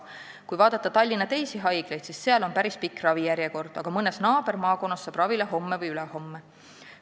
Kui vaadata Tallinna teisi haiglaid, siis seal on päris pikk ravijärjekord, aga mõnes naabermaakonnas saab ravile homme või ülehomme.